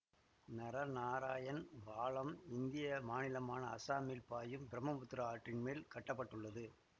நரநாராயண் பாலம் இந்திய மாநிலமான அசாமில் பாயும் பிரம்மபுத்திரா ஆற்றின் மேல் கட்ட பட்டுள்ளது